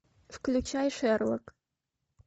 включай шерлок